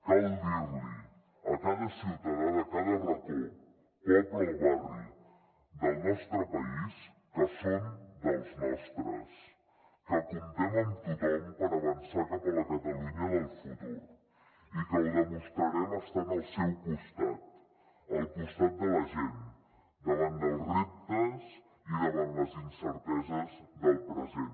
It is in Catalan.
cal dir li a cada ciutadà de cada racó poble o barri del nostre país que són dels nostres que comptem amb tothom per avançar cap a la catalunya del futur i que ho demostrarem estant al seu costat al costat de la gent davant dels reptes i davant les incerteses del present